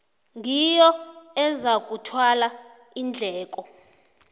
ngiyo ezakuthwala iindleko